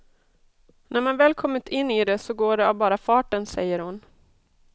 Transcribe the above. När man väl kommit in i det så går det av bara farten, säger hon.